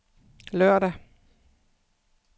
lørdag